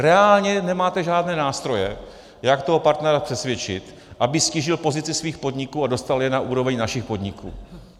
Reálně nemáte žádné nástroje, jak toho partnera přesvědčit, aby ztížil pozici svých podniků a dostal je na úroveň našich podniků.